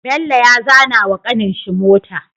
Bello ya zana wa kanin shi mota